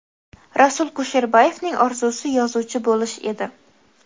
Rasul Kusherbayevning orzusi yozuvchi bo‘lish edi.